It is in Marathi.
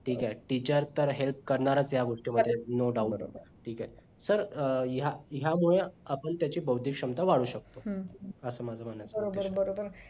ठीक आहे teacher तर help करणारच या गोष्टी मध्ये no doubt ठीक आहे तर या यामुळे आपण आपण त्याचा भौतिक क्षमता वाढवू शकतो असं माझं म्हणायचं आहे